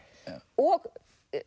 og